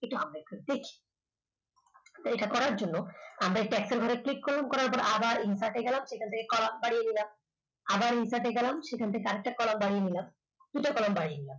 এটা আমরা একটু দেখি এটা করার জন্য আমরা এই ঘরে click করলাম করার পর আবার insert গেলাম এখান থেকে কলাম বাড়িয়ে নিলাম আবার insert গেলাম সেখান থেকে আর একটা column বাড়িয়ে নিলাম। দুইটা column বাড়িয়ে নিলাম।